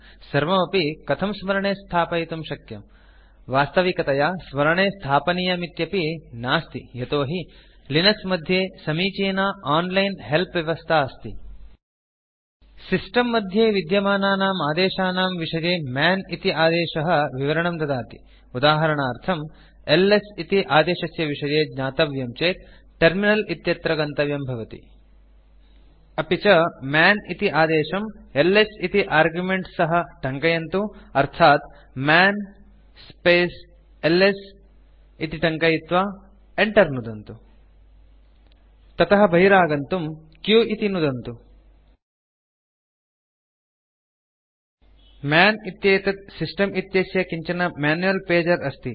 सर्वमपि कथं स्मरणे स्थापयितुं शक्यम् वास्तविकतया स्मरणे स्थापनीयमिति नास्ति यतो हि लिनक्स मध्ये समीचीना ओनलाइन् हेल्प् व्यवस्था अस्ति सिस्टम् मध्ये विद्यमानानाम् आदेशानां विषये मन् इति आदेशः विवरणं ददाति उदाहरणार्थम् एलएस इति आदेशस्य विषये ज्ञातव्यं चेत् टर्मिनल इत्यत्र गन्तव्यं भवति अपि च मन् इति आदेशं एलएस इति आर्गुमेन्ट् सह टङ्कयन्तु अर्थात् मन् स्पेस् एलएस इति टङ्कयित्वा enter नुदन्तु ततः बहिरागन्तुं q इति नुदन्तु मन् इत्येतत् सिस्टम् इत्यस्य किञ्चन मैन्युअल् पेजर अस्ति